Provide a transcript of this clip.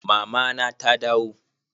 Mama na ta dawo?